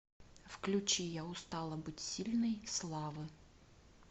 включи я устала быть сильной славы